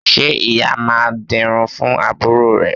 Ṣé ìyá máa dirun fún àbúrò rẹ̀?